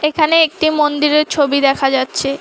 এখানে একটি মন্দিরের ছবি দেখা যাচ্ছে।